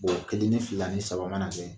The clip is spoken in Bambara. kelen ni fila ni saba mana kɛ